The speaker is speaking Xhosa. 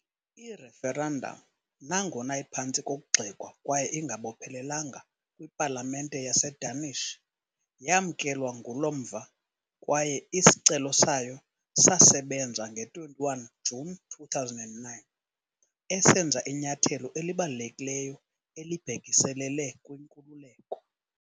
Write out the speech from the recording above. I-referendum, nangona iphantsi kokugxekwa kwaye ingabophelelanga kwipalamente yaseDanish, yamkelwa ngulo mva kwaye isicelo sayo sasebenza nge-21 Juni 2009, esenza inyathelo elibalulekileyo elibhekiselele kwinkululeko.